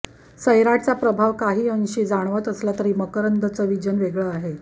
सैराटचा प्रभाव काहीअंशी जाणवत असला तरी मकरंदचं व्हिजन वेगळं आहे